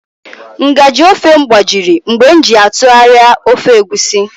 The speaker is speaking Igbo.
Nga/ji ofe m gbajiri mgbe m ji ya atụgharịa ofe Egusi